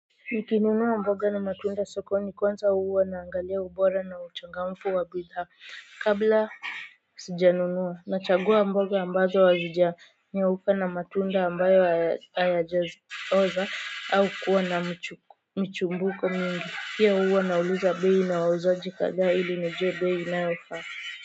Nikinunua mboga na matunda sokoni kwanza huwa naangalia ubora na uchangamfu wa bidhaa kabla sijanunua nachagua mboga ambazo hazija nyauka na matunda ambayo hayaja oza au kuwa na mchumbuko mingi pia huwa nauliza bei na wauzaji kadhaa ili nijue bei inayofaa.